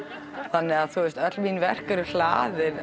þannig að öll mín verk eru hlaðin